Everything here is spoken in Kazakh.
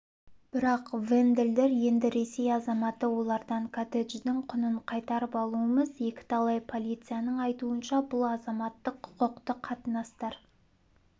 бірақ венделдер енді ресей азаматы олардан коттедждің құнын қайтарып алуымыз екіталай полицияның айтуынша бұл азаматтық-құқықтық қатынастар